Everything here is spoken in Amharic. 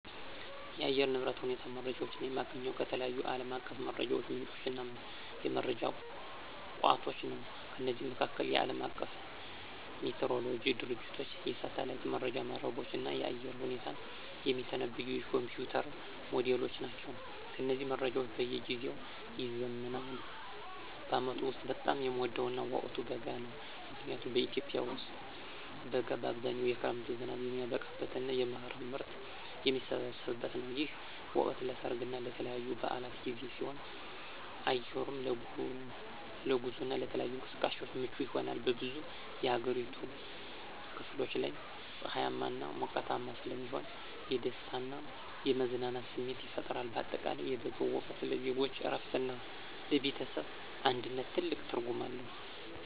የአየር ንብረት ሁኔታ መረጃዎችን የማገኘው ከተለያዩ ዓለም አቀፍ የመረጃ ምንጮችና የመረጃ ቋቶች ነው። ከነዚህም መካከል፦ የዓለም አቀፉ ሜትሮሎጂ ድርጅቶች፣ የሳተላይት መረጃ መረቦች፣ እና የአየር ሁኔታን የሚተነብዩ የኮምፒዩተር ሞዴሎች ናቸው። እነዚህ መረጃዎች በየጊዜው ይዘምናሉ። በዓመቱ ውስጥ በጣም የምወደው ወቅት በጋ ነው። ምክንያቱም በኢትዮጵያ ውስጥ በጋ በአብዛኛው የክረምት ዝናብ የሚያበቃበትና የመኸር ምርት የሚሰበሰብበት ነው። ይህ ወቅት ለሠርግና ለተለያዩ በዓላት ጊዜ ሲሆን፣ አየሩም ለጉዞና ለተለያዩ እንቅስቃሴዎች ምቹ ይሆናል። በብዙ የአገሪቱ ክፍሎች ላይ ፀሐያማና ሞቃታማ ስለሚሆን የደስታና የመዝናናት ስሜት ይፈጥራል። በአጠቃላይ የበጋው ወቅት ለዜጎች እረፍትና ለቤተሰብ አንድነት ትልቅ ትርጉም አለው።